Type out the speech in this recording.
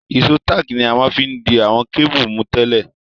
Ìsó tààkì ni a ma n fi di àwon cable mú tẹ́lẹ̀